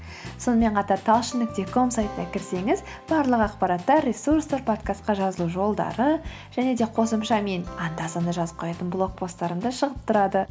сонымен қатар талшын нүкте ком сайтына кірсеңіз барлық ақпараттар ресурстар подкастқа жазылу жолдары және де қосымша мен анда санда жазып қоятын блог посттарым да шығып тұрады